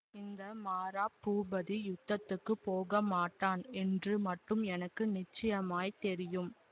இந்த மாரா பூபதி யுத்தத்துக்குப் போகமாட்டான் என்று மட்டும் எனக்கு நிச்சயமாய் தெரியும்